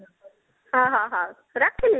ହଁ ହଁ ହଁ ରଖିଲି